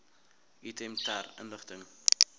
item ter inligting